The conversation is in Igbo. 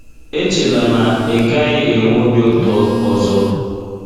Echela na ị gaghị enwe obi ụtọ ọzọ.